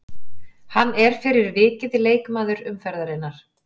Hann er fyrir vikið leikmaður umferðarinnar.